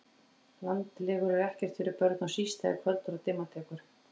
Landlegur eru ekkert fyrir börn og síst þegar kvöldar og dimma tekur